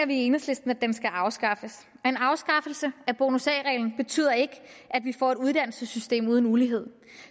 vi i enhedslisten at den skal afskaffes en afskaffelse af bonus a reglen betyder ikke at vi får et uddannelsessystem uden ulighed